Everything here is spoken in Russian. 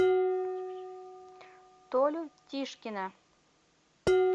толю тишкина